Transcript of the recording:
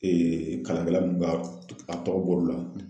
kalankɛla nunnu ka a tɔgɔ bɔr'o la